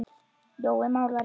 Jói málari